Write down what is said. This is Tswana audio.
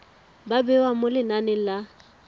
ba bewa mo lenaneng la